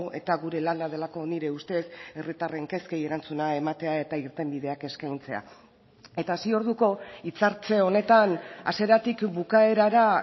eta gure lana delako nire ustez herritarren kezkei erantzuna ematea eta irtenbideak eskaintzea eta hasi orduko hitzartze honetan hasieratik bukaerara